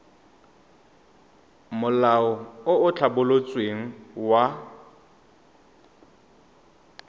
molao o o tlhabolotsweng wa